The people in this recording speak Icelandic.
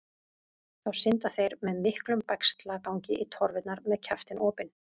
Þá synda þeir með miklum bægslagangi í torfurnar með kjaftinn opinn.